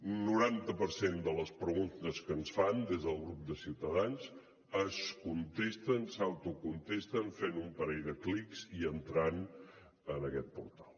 un noranta per cent de les preguntes que ens fan des del grup de ciutadans s’autocontesten fent un parell de clics i entrant en aquest portal